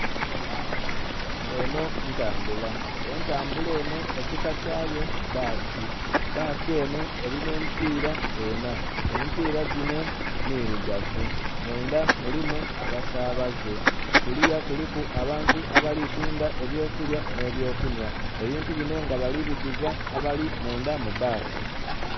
Enho ntambula. Entambula enho ekika kyayo bbasi. Bbasi enho elina emipiira enha. Emipiira gino mirugavu. Munda mulimu abasabaze. Kuliya kuliku abantu abali tunda eby'okulya nh'ebyokunhwa. Ebintu bino nga bali biguza abali munda mu bbasi.